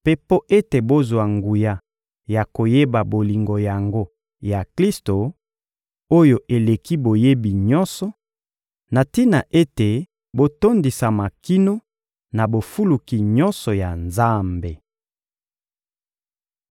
mpe mpo ete bozwa nguya ya koyeba bolingo yango ya Klisto, oyo eleki boyebi nyonso, na tina ete botondisama kino na bofuluki nyonso ya Nzambe.